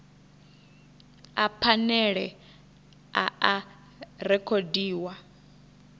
a phanele a a rekhodiwa